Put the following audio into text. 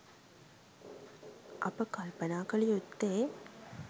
අප කල්පනා කළ යුත්තේ